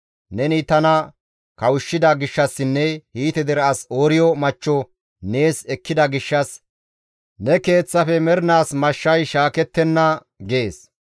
Neni tana kawushshida gishshassinne Hiite dere as Ooriyo machcho nees ekkida gishshas ne keeththafe mernaas mashshay shaakettenna› gees.